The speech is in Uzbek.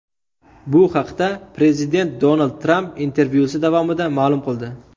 Bu haqda prezident Donald Tramp intervyusi davomida ma’lum qildi.